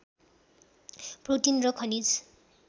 protein र खनिज